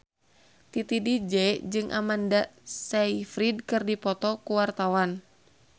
Titi DJ jeung Amanda Sayfried keur dipoto ku wartawan